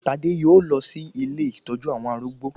Tádé yóò lọ sí ilé ìtọ́jú àwọn arúgbó